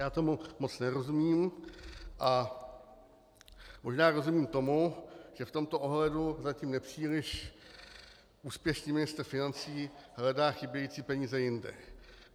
Já tomu moc nerozumím, ale možná rozumím tomu, že v tomto ohledu zatím nepříliš úspěšný ministr financí hledá chybějící peníze jinde.